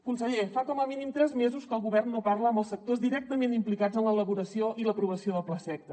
conseller fa com a mínim tres mesos que el govern no parla amb els sectors directament implicats en l’elaboració i l’aprovació del plaseqta